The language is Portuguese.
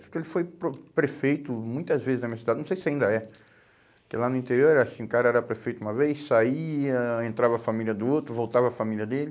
Porque ele foi pro prefeito muitas vezes na minha cidade, não sei se ainda é. Porque lá no interior era assim, o cara era prefeito uma vez, saía, entrava a família do outro, voltava a família dele.